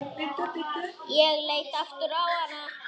Ég leit aftur á hana.